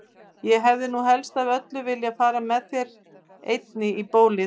Ég hefði nú helst af öllu viljað fara með þér einni í bíó!